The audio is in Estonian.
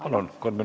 Palun!